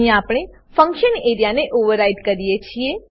અહીં આપણે ફંક્શન એરિયાને ઓવરરાઈડ કરીએ છીએ